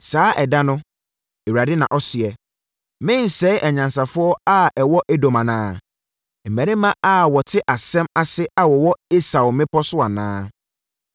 “Saa ɛda no,” Awurade na ɔseɛ, “Merensɛe anyansafoɔ a ɛwɔ Edom anaa, mmarima a wɔte asɛm ase a wɔwɔ Esau mmepɔ so anaa?